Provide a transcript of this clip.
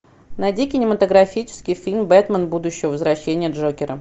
найди кинематографический фильм бэтмен будущего возвращение джокера